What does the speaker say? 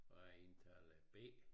Og jeg er indtaler B